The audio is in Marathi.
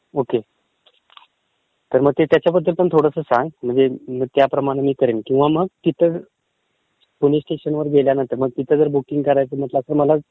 ओके, तर मग त्याच्याबद्दल पण थोडं सांग म्हणजे म त्याप्रमाणे मी करेन, किंवा मग तिथं स्टेशनवर गेल्यानंतर बुकींग करायचं तर तसं मला